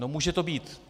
No může to být.